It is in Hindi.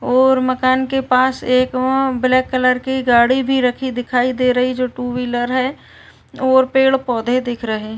और मकान के पास एक वो ब्लैक कलर की गाड़ी भी रखी दिखाई दे रही जो टू व्हीलर हैं और पेड़ पौधे दिख रहे --